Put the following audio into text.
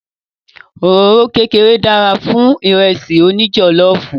Òróró kékeré dára fún Ìrẹ́sì òní jọ̀lọ́ọ̀fù